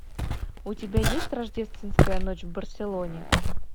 у тебя есть рождественская ночь в барселоне